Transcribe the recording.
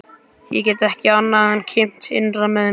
Ég get ekki annað en kímt innra með mér.